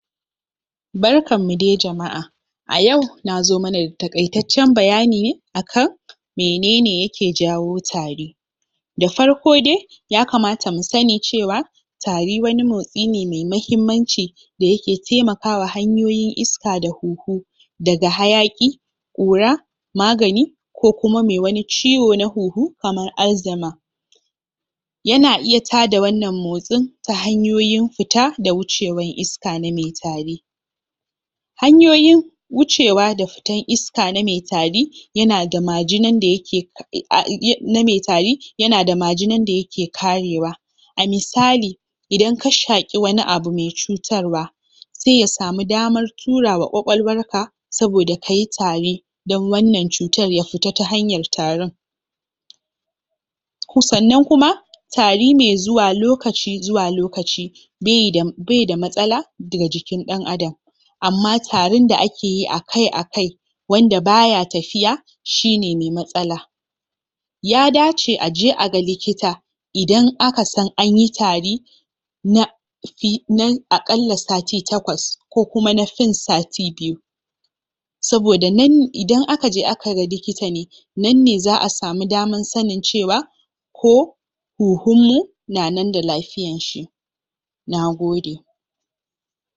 Barkan mu dai jama'a! a yau nazo mana da taƙaitaccen bayani ne akan menene yake jawo tari farko dai yakamata mu sanni cewa tari wani motsi ne mai mahimmanci da yake taimakawa hanyoyin iska da huhu daga hayaƙi ƙura magani ko kuma mai wani ciwo na huhu kamar alzheimer yana iya tada wannan motsin ta hanyoyin fita da wucewan iska na mai tari hanyoyin wucewa da fitan iska na mai tari yanada majinan da yake na mai tari yanada majinan da yake karewa misali idan ka shaƙi wani abu mai cutarwa sai ya samu damar turawa ƙwaƙwalwar ka saboda kayi tari don wannan cutar ya fita ta hanyar tarin sannan kuma tari mai zuwa lokaci zuwa lokaci baida baida matsala daga jikin ɗan adam amma tarin da akeyi akai-akai wanda baya tafiya shi ne mai matsala ya dace aje a ga likita idan aka san anyi tari aƙalla sati takwas ko kuma na fin sati biyu saboda nan.. idan akaje aka ga likita ne nan ne za'a samu damar sannin cewa ko huhun mu na nan da lafiyan shi Naode!